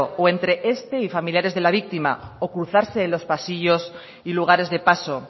o entre este y familiares de la víctima o cruzarse en los pasillos y lugares de paso